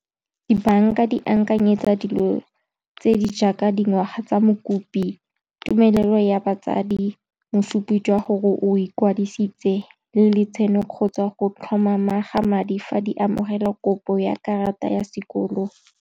Dibanka di akanyetsa dilo tse di jaaka dingwaga tsa mokopi, tumelelo ya batsadi, mosupi jwa gore o ikwadisitse, le le tshaeno kgotsa go tlhomama ga madi, fa di amogela kopo ya karata ya sekoloto.